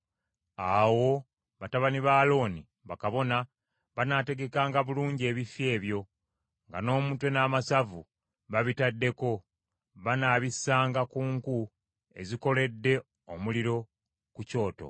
Awo batabani ba Alooni, bakabona, banaategekanga bulungi ebifi ebyo, nga n’omutwe n’amasavu babitaddeko; banaabissanga ku nku ezikoledde omuliro ku kyoto.